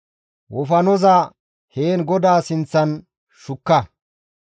wofanoza heen GODAA sinththan shukka.